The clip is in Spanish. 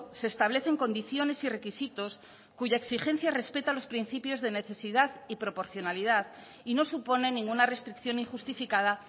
se establecen condiciones y requisitos cuya exigencia respeta los principios de necesidad y proporcionalidad y no supone ninguna restricción injustificada